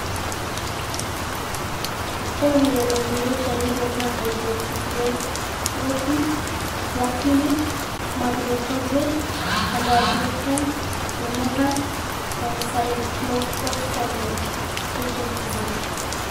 Ore lelo kulie shanito naa:hydroxychloroquine(plaquenil),methotrexate, azathioprine(imuran)o cyclophosphamide(cytoxan).